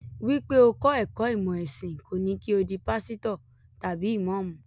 Wípé o kọ́ ẹ̀kọ́ ìmọ̀ ẹ̀sìn kò ní kí o di pásítọ̀ tàbí ìmọ́ọ̀mù.